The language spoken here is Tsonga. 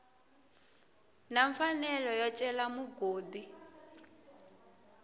na mfanelo yo cela mugodi